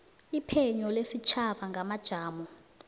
iphenyo lesitjhaba ngamajamo